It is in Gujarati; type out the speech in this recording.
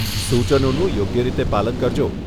સુચનોનું યોગ્ય રીતે પાલન કરજો.